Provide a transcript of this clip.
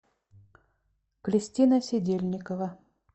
кристина сидельникова